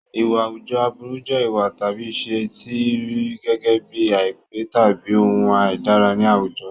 Ìwà àwùjọ aburú jẹ́ ìwà tàbí ìṣe tí a rí gẹ́gẹ́ bíi àìpé tàbí ohun àìdára ní àwùjọ.